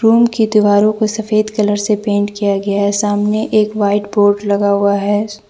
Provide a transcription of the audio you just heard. Room की दीवारों को सफेद कलर से पेंट किया गया है सामने एक वाइट बोर्ड लगा हुआ है।